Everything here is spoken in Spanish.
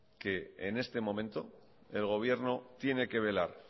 que en este momento el gobierno tiene que velar